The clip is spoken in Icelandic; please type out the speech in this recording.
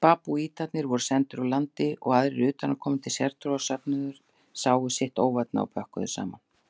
Babúítarnir voru sendir úr landi og aðrir utanaðkomandi sértrúarsöfnuðir sáu sitt óvænna og pökkuðu saman.